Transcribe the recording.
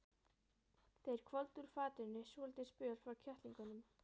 Þeir hvolfdu úr fatinu svolítinn spöl frá kettlingunum.